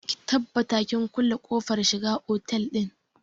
Ki tabbata kin kulle kofar shiga otal ɗin!